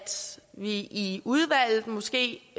vi i udvalget måske